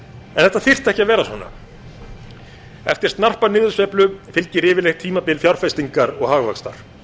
þetta þyrfti ekki að vera svona eftir snarpa niðursveiflu fylgir yfirleitt tímabil fjárfestingar og hagvaxtar